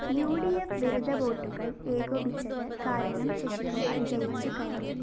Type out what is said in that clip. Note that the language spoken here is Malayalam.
ഉ ഡി ഫ്‌ വിരുദ്ധ വോട്ടുകള്‍ ഏകോപിച്ചത് കാരണം ശശികുമാര്‍ ജയിച്ചുകയറി